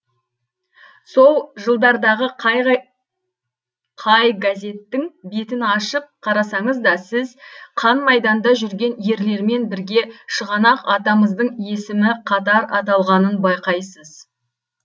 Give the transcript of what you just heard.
сол жылдардағы қай газеттің бетін ашып қарасаңыз да сіз қан майданда жүрген ерлермен бірге шығанақ атамыздың есімі қатар аталғанын байқайсыз